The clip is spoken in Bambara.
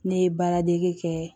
Ne ye baara dege kɛ